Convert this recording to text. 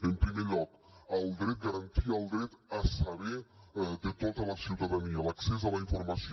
en primer lloc garantir el dret a saber de tota la ciutadania l’accés a la informació